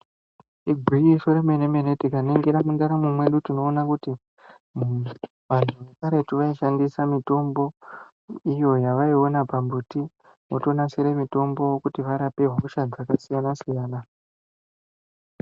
Igwinyiso remene-mene, tikaningira mundaramwo mwedu, tinoona kuti, muntu, vantu vekaretu vaishandisa mitombo, iyo yavaiona pambuti, votonasire mitombo, kuti varape hosha dzakasiyana-siyana.